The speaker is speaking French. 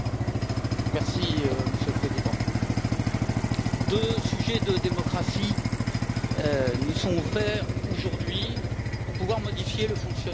Monsieur le Président, deux sujets de démocratie nous sont offerts aujourd'hui pour pouvoir modifier le fonctionnement de l'Europe.